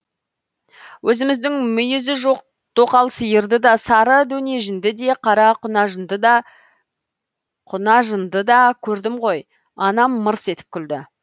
өзіміздің мүйізі жоқ тоқал сиырды да сары дөнежінді де қара құнажынды да көрдім ғой анам мырс етіп күлді